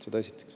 Seda esiteks.